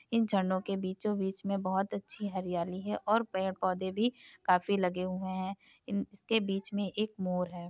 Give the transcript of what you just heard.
इन झरनों के बीचों बीच में बहुत अच्छी हरियाली है और पेड़ पौधे भी काफी लगे हुए हैं। इन इसके बीच में एक मोर है।